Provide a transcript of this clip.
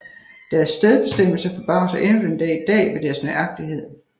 Deres stedsbestemmelser forbavser endnu den dag i dag ved deres nøjagtighed